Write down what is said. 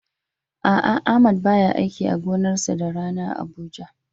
A'a Ahmad baya aiki a gonarsa da rana a Abuja.